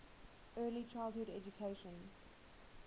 early childhood education